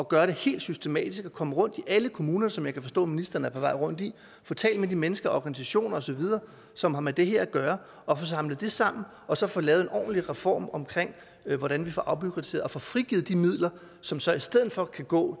gøre det helt systematisk og komme rundt i alle kommuner som jeg kan forstå ministeren er på vej rundt i få talt med de mennesker organisationer osv som har med det her at gøre og få samlet det sammen og så få lavet en ordentlig reform omkring hvordan vi får afbureaukratiseret og får frigivet de midler som så i stedet for kan gå